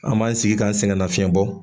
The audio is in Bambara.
An b'an sigi ka sɛgɛnnafiɲɛ bɔ